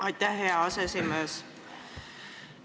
Aitäh, hea aseesimees!